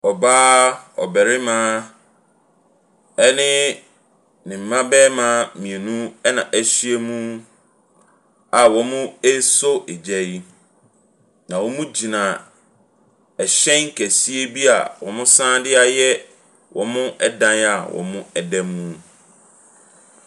Ɔbaa, ɔbarima ne ne mma barima mmienu na ahyiam a wɔresɔ gya yi. Na wɔgyina ɛhyɛn kɛseɛ bi a wɔsan de ayɛ wɔn dan a wɔda mu.